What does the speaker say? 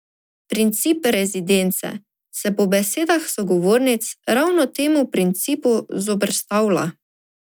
Princip rezidence se po besedah sogovornic ravno temu principu zoperstavlja.